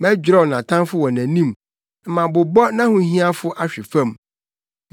Mɛdwerɛw nʼatamfo wɔ nʼanim na mabobɔ nʼahohiahiafo ahwe fam.